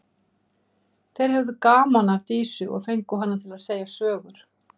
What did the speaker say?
Þeir höfðu gaman af Dísu og fengu hana til að segja sögur.